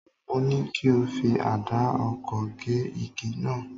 Mo ní kí o fi àdá oko gé igi náà